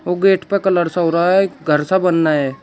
Gate पर colour सा हो रहा है घर सा बना है।